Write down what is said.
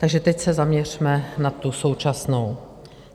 Takže teď se zaměřme na tu současnou.